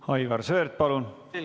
Aivar Sõerd, palun!